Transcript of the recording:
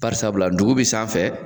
Barisabula ndugu bi sanfɛ